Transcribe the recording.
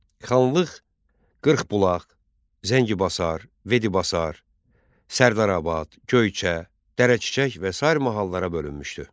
Xanlıq Qırxbulaq, Zəngibasar, Vedibasar, Sərdarabad, Göyçə, Dərəçiçək və sair mahallara bölünmüşdü.